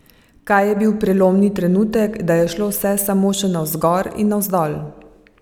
Kaj je bil prelomni trenutek, da je šlo vse samo še navzgor in navzgor?